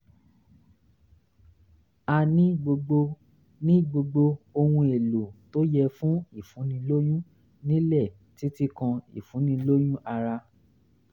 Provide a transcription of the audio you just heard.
a ní gbogbo ní gbogbo ohun-èlò tó yẹ fún ìfúnnilóyún nílé títí kan ìfúnnilóyún ara